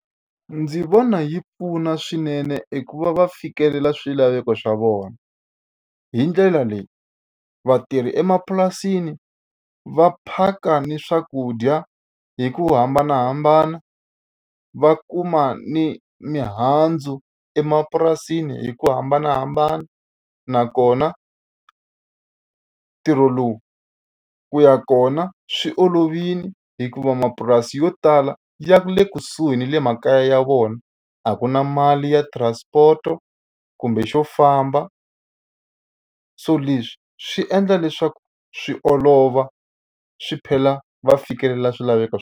Ndzi vona yi pfuna swinene eku va va fikelela swilaveko swa vona. Hi ndlela leyi vatirhi emapurasini va phaka ni swakudya hi ku hambanahambana, va kuma ni mihandzu emapurasini hi ku hambanahambana. Nakona ntirho lowu ku ya kona swi olovile hikuva mapurasi yo tala ya le kusuhi na le makaya ya vona, a ku na mali ya transport kumbe xo famba. So leswi swi endla leswaku swi olova swi va fikelela swilaveko .